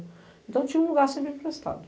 Então tinha um lugar sempre emprestado.